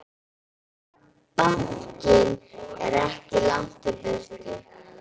Bankinn er langt í burtu.